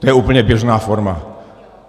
To je úplně běžná forma.